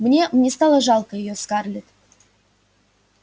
мне мне стало жалко её скарлетт